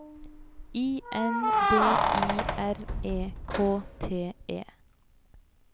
I N D I R E K T E